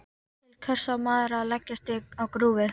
Til hvers á maður að leggjast á grúfu?